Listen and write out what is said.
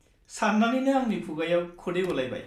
सान्नानैनो आंनि खुगायाव खदै गलायबाय।